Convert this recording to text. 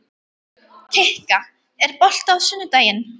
Kikka, er bolti á sunnudaginn?